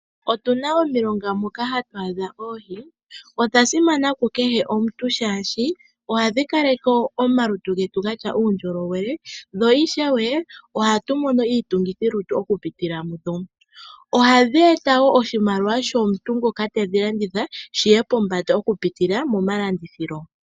Otu na omilonga moka hatu adha oohi dhoka dhili dha simana kehe komuntu shashi ohadhi kaleke omalutu getu gena uundjolowele dho ishewe ohatu mono iitungithi lutu oku pitila mudho. Ohadhi eta wo oshimaliwa shomuntu ngoka tedhi landitha shiye pombanda oku pitila momalandithilo.